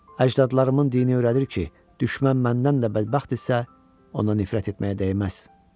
Əcdadlarımın dini öyrədir ki, düşmən məndən də bədbəxtdirsə, ona nifrət etməyə dəyməz.